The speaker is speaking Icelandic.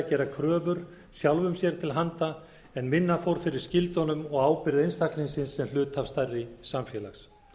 gera kröfur sjálfum sér til handa en minna fór fyrir skyldunum og ábyrgð einstaklingsins sem hluta stærri samfélags